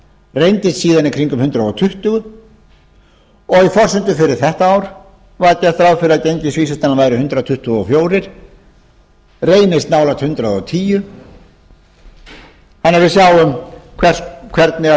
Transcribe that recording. reyndist síðan í kringum hundrað tuttugu og í forsendum fyrir þetta ár var gert ráð fyrir að gengisvísitalan væri hundrað tuttugu og fjögur reynist nálægt hundrað og tíu þannig að við sjáum hvernig